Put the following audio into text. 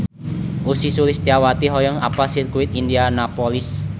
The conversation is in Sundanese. Ussy Sulistyawati hoyong apal Sirkuit Indianapolis